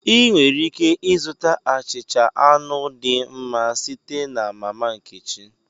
Ị nwere ike ịzụta achịcha anụ dị mma site na mama nkechi